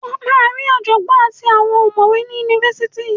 Ó máa ri ọ̀jọ̀gbọ́ àti àwọn ọ̀mọ̀wé ni Yunifásitì.